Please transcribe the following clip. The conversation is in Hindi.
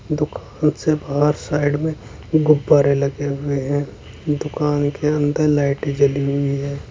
दुकान से बाहर साइड में गुब्बारे लगे हुए हैं दुकान के अंदर लाईटें जली हुई है।